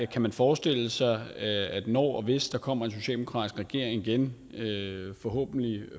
kan forestille sig når og hvis der kommer en socialdemokratisk regering igen forhåbentlig